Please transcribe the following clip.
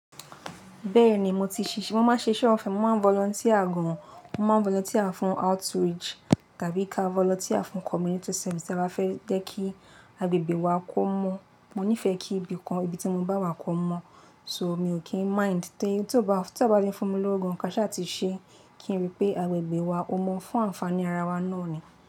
Bẹ́ẹ̀ni, mo ti ṣiṣẹ́, mo máa ń ṣiṣẹ́ ọ̀fẹ́, mo máa ń volunteer gan, mo máa ń volunteer fún outreach tàbí ká volunteer fún community service tí a bá fẹ́ jẹ́ kí agbègbè wa kó mọ́. Mo nífẹ̀ẹ́ kí ibìkan, ibi tí mo bá wà kó mọ́. So mi ò kí ń mind, tí ó bá ti fún mi lórúkọ ká ṣha ti ṣe kí n rí pé agbègbè wa ó mọ́ fún ànfàní ara wa náà ni.